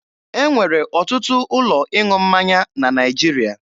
E nwere ọtụtụ ụlọ ịṅụ mmanya na Naịjirịa.